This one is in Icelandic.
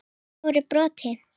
í stóru broti.